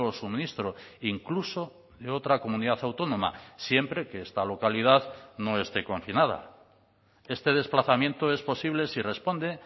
suministro incluso de otra comunidad autónoma siempre que esta localidad no esté confinada este desplazamiento es posible si responde